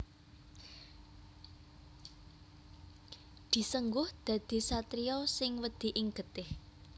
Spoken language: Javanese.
Disengguh dadi satriya sing wedi ing getih